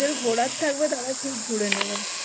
সুধার আসিছন